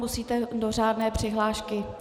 Musíte do řádné přihlášky.